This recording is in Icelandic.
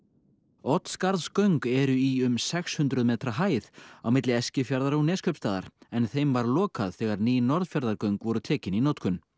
Oddsskarðsgöng eru í um sex hundruð metra hæð á milli Eskifjarðar og Neskaupstaðar en þeim var lokað þegar ný Norðfjarðargöng voru tekin í notkun